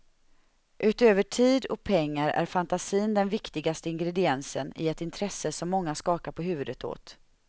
Utöver tid och pengar är fantasin den viktigaste ingrediensen i ett intresse som många skakar på huvudet åt.